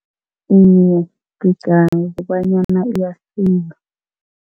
Iye, ngicabanga kobanyana iyasiza.